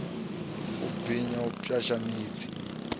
u binya u pwasha miḓi